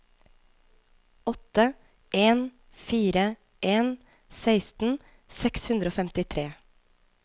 åtte en fire en seksten seks hundre og femtitre